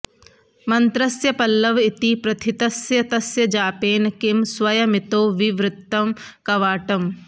मन्त्रस्य पल्लव इति प्रथितस्य तस्य जापेन किं स्वयमितो विवृतं कवाटम्